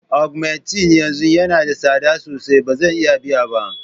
Augmenting yanzu yana da tsada sosai, ba zan iya biya ba.